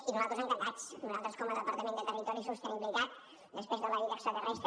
i nosaltres encantats nosaltres com a departament de territori i sostenibilitat després de la vida extraterrestre